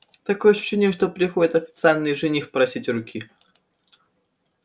такое ощущение что приходит официальный жених просить руки